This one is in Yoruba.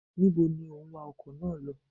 Ní bo ni o ń wa ọkọ̀ náà lọ?